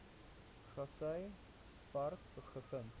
grassy park gevind